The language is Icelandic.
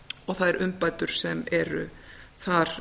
og þær umbætur sem eru þar